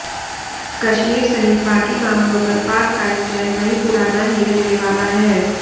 कश्मीर सहित बाकी मामलों पर पाक का स्टैंड वही पुराना ही रहने वाला है